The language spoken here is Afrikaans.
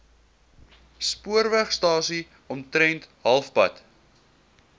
spoorwegstasie omtrent halfpad